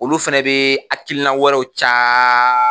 Olu fana bɛ hakilina wɛrɛw ca